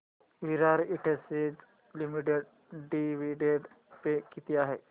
विराट industries limited dividend pay किती आहे